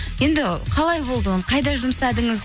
енді қалай болды оны қайда жұмсадыңыз